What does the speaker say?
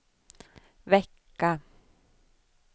vecka